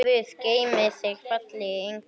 Guð geymi þig, fallegi engill.